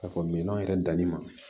Ka fɔ minɛn yɛrɛ danni ma